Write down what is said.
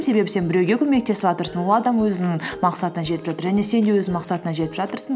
себебі сен біреуге көмектесіватырсың ол адам өзінің мақсатына жетіп жатыр және сен де өз мақсатыңа жетіп жатырсың